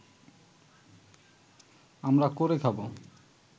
আমরা করে খাব